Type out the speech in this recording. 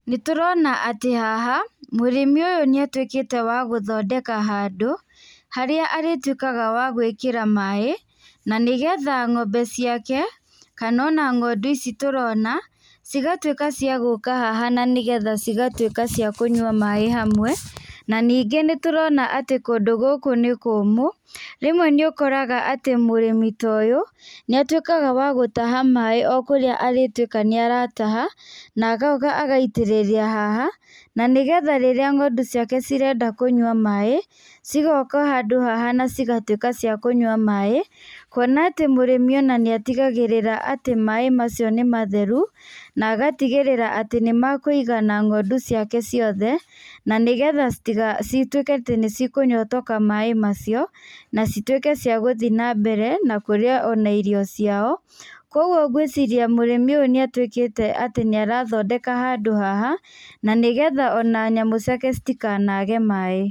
Nĩtũrona atĩ haha mũrĩmi ũyũ nĩ atuĩkĩte wa gũthondeka handũ harĩa arĩtuĩkaga wa gwĩkĩra maĩ na nigetha ng'ombe ciake kana ona ng'ondu ici tũrona cigatuĩka ciagũka haha na nĩgetha cigatuĩka ciakũnyua maĩ hamwe na ningĩ nĩtũrona atĩ kũndũ gũkũ nĩ kũmũ. Rĩmwe nĩũkoraga atĩ mũrĩmi ta ũyũ nĩ atuĩkaga wa gũtaha maĩ o kũrĩa arĩtuĩka nĩarataha na agoka agaitĩrĩria haha na nĩgetha rĩrĩa ng'ondu ciake cirenda kũnyua maĩ cigoka handũ haha na cigatuĩka ciakũnyua maĩ kũona atĩ ona mũrĩmi nĩ atigagĩrĩra atĩ ona maĩ macio nĩmatheru na agtigĩrĩra atĩ nĩmekũigana ng'ondu ciake ciothe na nĩgetha cituĩke atĩ nĩ cikũnyotoka maĩ macio na cituĩke ciagũthiĩ na mbere na kũrĩa ona irio ciao. Kũoguo ngwĩciria mũrĩmi ũyũ nĩ atuĩkĩte atĩ nĩ arathondeka handũ haha na nĩgetha ona nyamũ ciake citikanage maĩ.